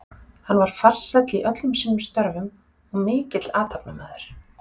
Hann var farsæll í öllum sínum störfum og mikill athafnamaður.